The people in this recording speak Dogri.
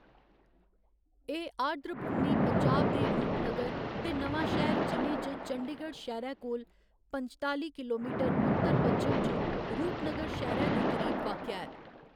एह्‌‌ आर्द्रभूमि पंजाब दे रूपनगर ते नवांशहर जि'लें च चंडीगढ़ शैह्‌रै कोला पंजताली किलोमीटर उत्तर पच्छम च रूपनगर शैह्‌रै दे करीब वाक्या ऐ।